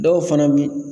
Dɔw fana bi